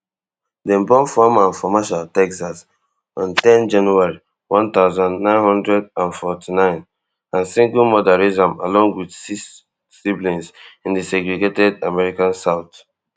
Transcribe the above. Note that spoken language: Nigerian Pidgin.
dem born foreman for marshall texas on ten january one thousand, nine hundred and forty-nine and single mother raise am along wit six siblings in di segregated american south